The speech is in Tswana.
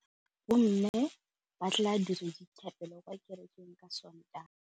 Bommê ba tla dira dithapêlô kwa kerekeng ka Sontaga.